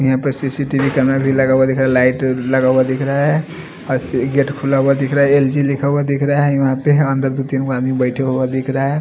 यापे CCTV camera भी लगा हुआ दिखरा लाइट लगा हुआ दिखरा है असी गेट खुला हुआ दिखरा है एल_जी लिखा हुआ दिखरा है यापे है अन्दर दो तिन आदमी बेठे हुआ दिखरा है।